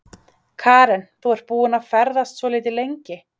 Karen: Þú ert búinn að ferðast svolítið lengi?